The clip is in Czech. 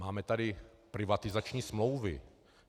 Máme tady privatizační smlouvy.